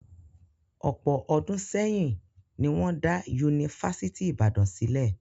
Ọ̀pọ̀ ọdún sẹ́yìn ni wọ́n dá Yunifásítì Ìbàdàn sílẹ̀